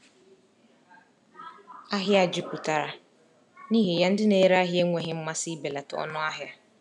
Ahịa jupụtara, n’ihi ya ndị na-ere ahịa enweghị mmasị ibelata ọnụ ahịa.